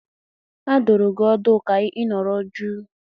A dụrụ gị ọdụ ka ị nọrọ jụụ!